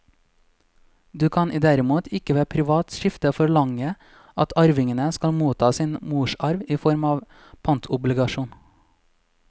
Du kan derimot ikke ved privat skifte forlange at arvingene skal motta sin morsarv i form av en pantobligasjon.